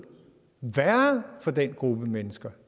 værre for den gruppe mennesker